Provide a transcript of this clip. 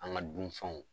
An ka dunfɛnw